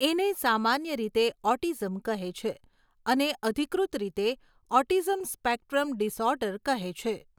એને સામાન્ય રીતે ઓટીઝમ કહે છે અને અધિકૃત રીતે ઓટીઝમ સ્પેક્ટ્રમ ડીસઓર્ડર કહે છે.